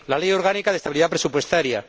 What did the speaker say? la Ley Orgánica de Estabilidad Presupuestaria